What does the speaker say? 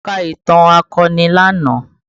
Mo ka ìtàn akọni lánàá